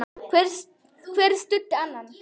Hver studdi annan.